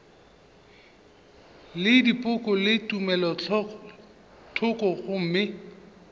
le dipoko le tumelothoko gomme